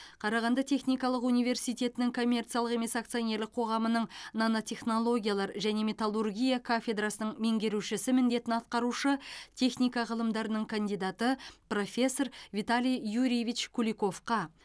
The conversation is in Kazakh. қарағанды техникалық университетінің коммерциялық емес акционерлік қоғамының нанотехнологиялар және металлургия кафедрасының меңгерушісі міндетін атқарушы техника ғылымдарының кандидаты профессор виталий юрьевич куликовқа